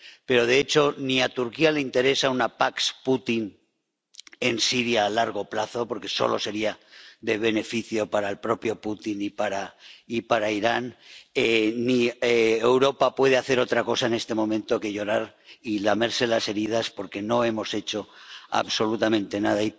Pero, de hecho, ni a Turquía le interesa una pax Putin en Siria a largo plazo, porque solo sería de beneficio para el propio Putin y para Irán, ni Europa puede hacer otra cosa en este momento que llorar y lamerse las heridas porque no hemos hecho absolutamente nada.